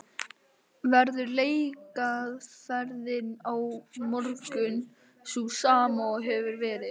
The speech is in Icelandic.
Verður leikaðferðin á morgun sú sama og hefur verið?